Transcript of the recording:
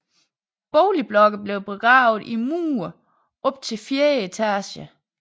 Boligblokke blev begravet i mudder op til fjerde etage